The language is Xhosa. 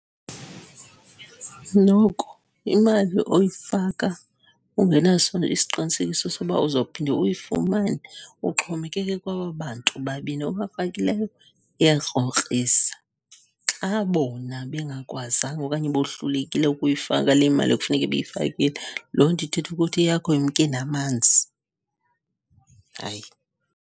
Noko imali oyifaka ungenaso isiqinisekiso soba uzophinde uyifumane, uxhomekeke kwaba bantu babini obafakileyo, iyakrokrisa. Xa bona bengakwazanga okanye bohlulekile ukuyifaka le mali kufuneke beyifakile, loo nto ithetha ukuthi eyakho imke namanzi. Hayi.